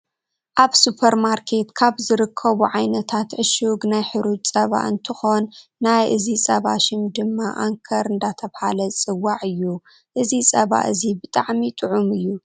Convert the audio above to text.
ኣብ ስፖርማርኬት ካብ ዝርከቡ ዓይነታት ዕሽግ ናይ ሕሩጭ ፀባ እንትኮን ናይ እዚ ፀባ ሽም ድማ ኣንከር እንዳተባሃለ ዝፅዋዕ እዩ። እዚ ፀባ እዚ ብጣዕሚ ጥዑም እዩ።